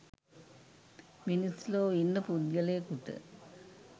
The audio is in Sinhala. මිනිස් ලොව ඉන්න පුද්ගලයෙකුට